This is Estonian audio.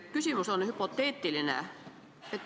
Küsimus on hüpoteetiline.